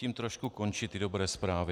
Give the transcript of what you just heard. Tím trošku končí ty dobré zprávy.